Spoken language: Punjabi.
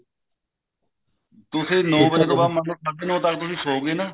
ਤੁਸੀਂ ਨੋ ਵਜੇ ਤੋਂ ਬਾਅਦ ਮਤਲਬ ਸਾਡੇ ਨੋ ਵਜੇ ਤੱਕ ਤੁਸੀਂ ਸੋ ਗਏ ਨਾ